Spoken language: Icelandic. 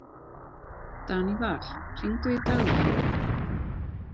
Daníval, hringdu í Dagvin.